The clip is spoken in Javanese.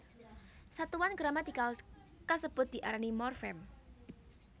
Satuan gramatikal kasebut diarani morfem